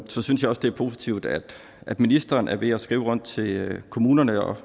så synes jeg også det er positivt at at ministeren er ved at skrive rundt til kommunerne og